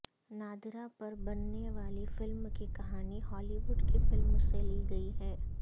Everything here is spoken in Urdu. نادرہ پر بننے والی فلم کی کہانی ہالی وڈ کی فلم سے لی گئی ہے